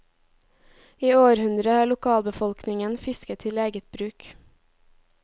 I århundrer har lokalbefolkningen fisket til eget bruk.